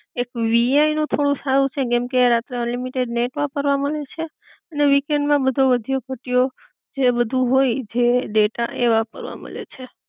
એક વીઆઇ નું થોડું સારું છે કેમકે રાત ના અનલિમિટેડ નેટ વાપરવા મલે છે, ને વીકેન્ડ માં બધો વધ્યો ઘટ્યો જે બધુ હોય જે ડેટા એ વાપરવા મલે છે